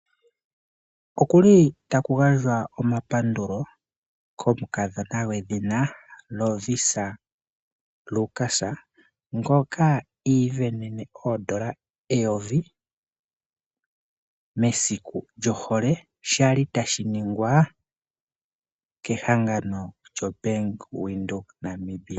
Okuli taku gandjwa omapandulo komu kadhona gwedhina Lovisa Lukas, ngoka iivenene oodola eyovi mesiku djohole shali tashi ningwa kehangano djo BankWindhoek Namibia.